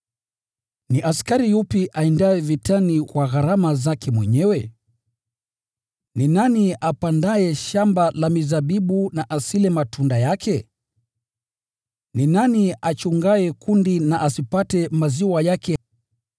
Ni askari yupi aendaye vitani kwa gharama zake mwenyewe? Ni nani apandaye shamba la mizabibu na asile matunda yake? Ni nani achungaye kundi na asipate maziwa yake.